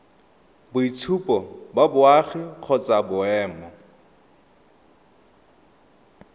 boitshupo ba boagi kgotsa boemo